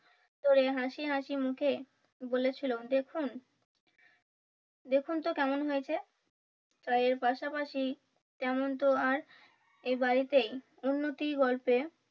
ঝোরে হাসিহাসি মুখে বলেছিলো দেখুন দেখুন তো কেমন হয়েছে চায়ের পাশাপাশি তেমন তো আর এই বাড়িতেই উন্নতি হয়েছে।